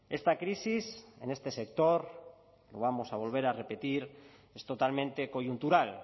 esta crisis en este sector lo vamos a volver a repetir es totalmente coyuntural